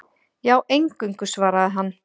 Já, eingöngu, svaraði hann.